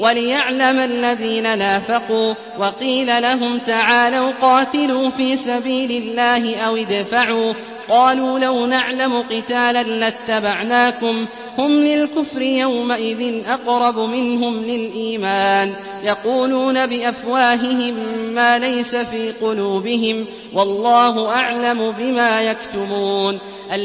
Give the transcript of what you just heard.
وَلِيَعْلَمَ الَّذِينَ نَافَقُوا ۚ وَقِيلَ لَهُمْ تَعَالَوْا قَاتِلُوا فِي سَبِيلِ اللَّهِ أَوِ ادْفَعُوا ۖ قَالُوا لَوْ نَعْلَمُ قِتَالًا لَّاتَّبَعْنَاكُمْ ۗ هُمْ لِلْكُفْرِ يَوْمَئِذٍ أَقْرَبُ مِنْهُمْ لِلْإِيمَانِ ۚ يَقُولُونَ بِأَفْوَاهِهِم مَّا لَيْسَ فِي قُلُوبِهِمْ ۗ وَاللَّهُ أَعْلَمُ بِمَا يَكْتُمُونَ